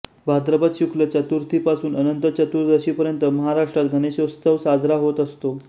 भाद्रपद शुक्ल चतुर्थीपासून अनंत चतुर्दशीपर्यंत महाराष्ट्रात गणेशोत्सव साजरा होत असतो